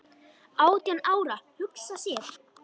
Átján ára, hugsa sér!